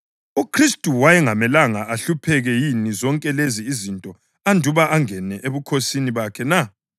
UKhristu wayengamelanga ahlupheke yini zonke lezi izinto andubana angene ebukhosini bakhe na?”